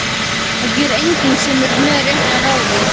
Það gerir enginn sem er með réttu ráði.